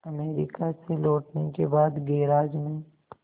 America से लौटने के बाद गैराज में